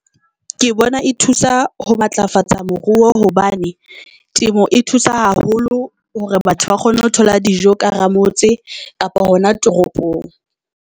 Ke bona e thusa ho matlafatsa moruo hobane temo e thusa haholo hore batho ba kgona ho thola dijo ka hara ramotse kapa hona toropong.